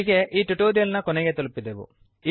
ಇಲ್ಲಿಗೆ ಈ ಟ್ಯುಟೋರಿಯಲ್ ನ ಕೊನೆ ತಲುಪಿದೆವು